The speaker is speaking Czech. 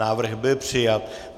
Návrh byl přijat.